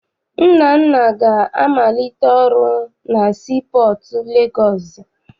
Nnanna ga-amalite ọrụ na sii pọọtụ Legọọsị.